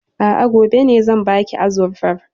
A'a, gobe ne zan baki azurfar.